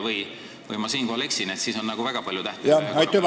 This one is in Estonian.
Võib-olla eksin, aga kui see nii on, siis on ühel päeval väga palju tähtpäevi.